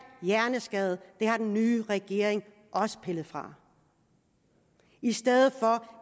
hjerneskadede det har den nye regering også pillet fra i stedet